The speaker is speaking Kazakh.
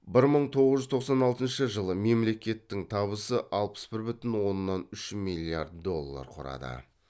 бір мың тоғыз жүз тоқсан алтыншы жылы мемлекеттің табысы алпыс бір бүтін оннан үш миллиард доллар құрады